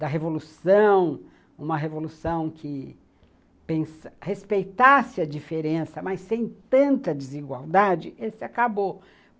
da revolução, uma revolução que pensa respeitasse a diferença, mas sem tanta desigualdade, esse acabou.